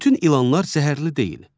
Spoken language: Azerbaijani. Bütün ilanlar zəhərli deyil.